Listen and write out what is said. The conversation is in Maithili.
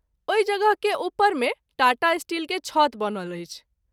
ओहि जगह के उपर मे टाटा स्टील के छत बनल अछि।